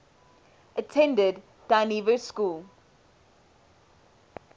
attended dynevor school